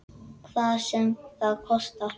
Hvað sem það kostar.